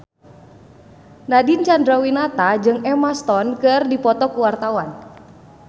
Nadine Chandrawinata jeung Emma Stone keur dipoto ku wartawan